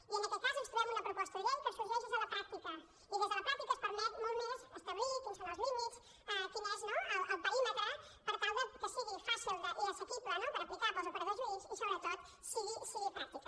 i en aquest cas ens trobem una proposta de llei que sorgeix des de la pràctica i des de la pràctica es permet molt més establir quins són els límits quin és el perímetre per tal que sigui fàcil i assequible d’aplicar pels operadors jurídics i sobretot sigui pràctica